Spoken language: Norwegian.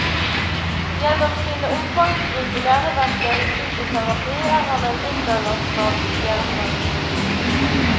Gjennom sine omfangsrike læreverker i psykoterapi er han en internasjonal stjerne.